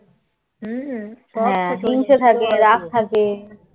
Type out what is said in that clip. হম হিংসে থাকে রাগ থাকে